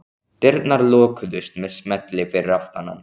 Dyrnar lokuðust með smelli fyrir aftan hann.